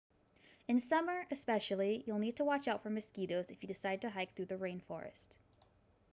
in summer especially you'll need to watch out for mosquitoes if you decide to hike through the rainforest